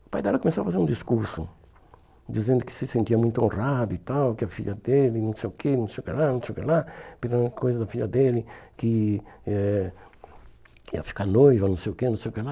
O pai dela começou a fazer um discurso, dizendo que se sentia muito honrado e tal, que a filha dele, não sei o que, não sei o que lá, não sei o que lá, pela coisa da filha dele, que eh que ia ficar noiva, não sei o que, não sei o que lá.